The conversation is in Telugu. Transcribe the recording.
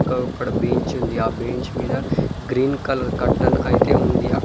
ఇంకా ఇక్కడ బెంచ్ ఉంది ఆ బెంచ్ మీద గ్రీన్ కలర్ కర్టన్ అయితే ఉంది.